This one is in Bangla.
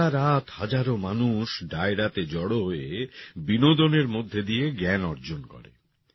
সারারাত হাজারো মানুষ ডায়রাতে জড়ো হয়ে বিনোদনের মধ্যে দিয়ে জ্ঞান অর্জন করে